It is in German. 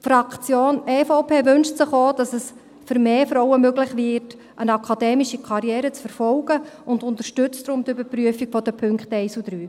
Die Fraktion EVP wünscht sich auch, dass es für mehr Frauen möglich wird, eine akademische Karriere zu verfolgen und unterstützt deshalb die Überprüfung der Punkte 1 und 3.